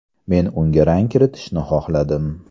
Men unga rang kiritishni xohladim.